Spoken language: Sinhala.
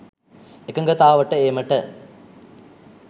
එකඟතාවට ඒමට